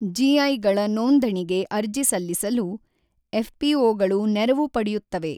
ಜಿಐಗಳ ನೋಂದಣಿಗೆ ಅರ್ಜಿ ಸಲ್ಲಿಸಲು ಎಫ್ಪಿಒಗಳು ನೆರವು ಪಡೆಯುತ್ತವೆ.